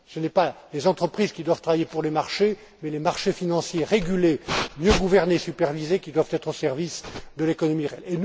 ans. Ce n'est pas les entreprises qui doivent travailler pour les marchés, mais les marchés financiers régulés, mieux gouvernés et supervisés, qui doivent être au service de l'économie réelle.